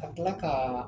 Ka tila ka